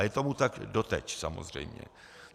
A je tomu tak doteď samozřejmě.